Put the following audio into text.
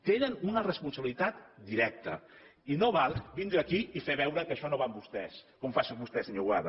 tenen una responsabilitat directa i no val vindre aquí i fer veure que això no va amb vostès com fa vostè senyor boada